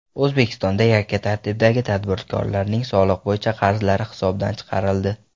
O‘zbekistonda yakka tartibdagi tadbirkorlarning soliq bo‘yicha qarzlari hisobdan chiqarildi.